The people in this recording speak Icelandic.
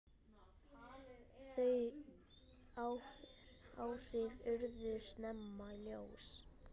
Þau áhrif urðu snemma ljós.